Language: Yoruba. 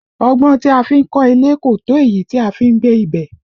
Ọgbọ́n tí a fi ń kọ́ ilé kò tó èyí tí a fi n gbé ibẹ̀